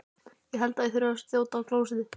Ég held ég þurfi að þjóta á klósettið.